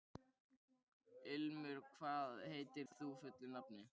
Ilmur, hvað heitir þú fullu nafni?